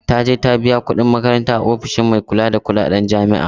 Taje ta biya kuɗin makaranta a ofishin mai kula da kuɗaɗen jami'a